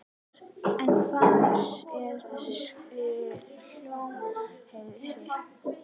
En hvar er þessi Hólmsheiði?